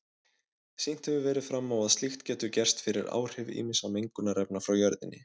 Sýnt hefur verið fram á að slíkt getur gerst fyrir áhrif ýmissa mengunarefna frá jörðinni.